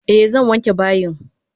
Eh zan wanke bayin.